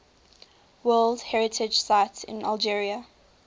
world heritage sites in algeria